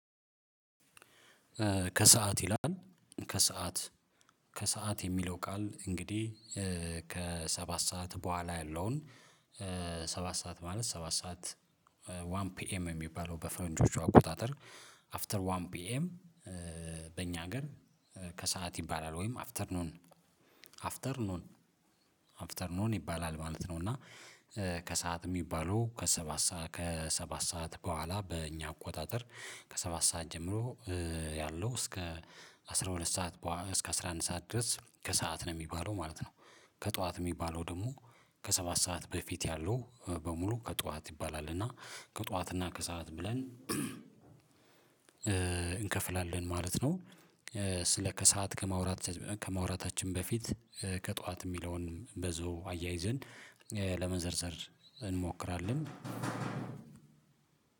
ከሰአት ይላል ከሰአት ከሰአት የሚለው ቃል እንግዲህ ከሰባት ሰዓት በኋላ ያለውን ሰባት ሰዓት ማለት ሰባት ሰዓት ዋን ፒኤም የሚባለው በፈንጆቹ አቆጣጠር አፍተር ዋን ፒኤም። በእኛ ሀገር ከሰአት ይባላል ወይም አፍተር ኖን አፍተር ኖን አፍተር ኖን ይባላል ማለት ነው። እና ከሰአት የሚባሉ ከሰባት ሰዓት ከሰባት ሰዓት በኋላ በእኛ አቆጣጠር ከሰባት ሰዓት ጀምሮ ያለው እስከ አስራ ሁለት ሰዓት በኋ እስከ አስራ አንድ ሰዓት ድረስ ከሰአት ነው የሚባለው ማለት ነው። ከጠዋት የሚባለው ደግሞ ከሰባት ሰዓት በፊት ያለው በሙሉ ከጧት ይባላል እና ከጧት እና ከሰአት ብለን እንከፍላለን ማለት ነው። ስለ ከሰአት ከማውራት ከማውራታችን በፊት ከጧት የሚለውን በዞ አያይዘን ለመዘርዘር እንሞክራለን።